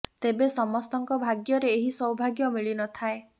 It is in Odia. ତେବେ ସମସ୍ତଙ୍କ ଭାଗ୍ୟରେ ଏହି ସ୍ୱଭାଗ୍ୟ ମିଳି ନ ଥାଏ